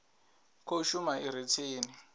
khou shuma i re tsini